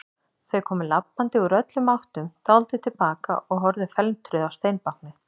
Þau komu labbandi úr öllum áttum, dáldið til baka og horfðu felmtruð á steinbáknið.